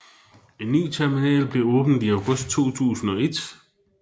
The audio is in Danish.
En ny terminal blev åbnet i august 2001